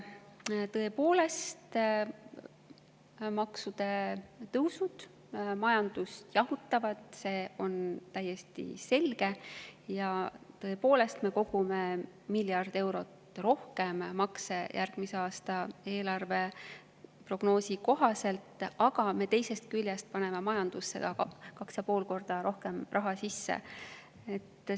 Tõepoolest, maksutõusud majandust jahutavad, see on täiesti selge, ja me tõepoolest kogume miljard eurot rohkem makse järgmise aasta eelarveprognoosi kohaselt, aga me teisest küljest paneme majandusse 2,5 korda rohkem raha sisse.